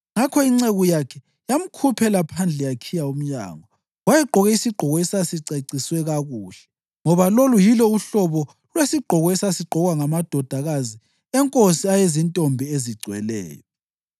Ngakho inceku yakhe yamkhuphela phandle yakhiya umnyango. Wayegqoke isigqoko esasiceciswe kakuhle, ngoba lolu yilo uhlobo lwesigqoko esasigqokwa ngamadodakazi enkosi ayezintombi ezigcweleyo.